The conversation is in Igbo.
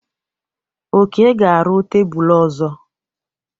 Oke ga-arụ tebụl ọzọ.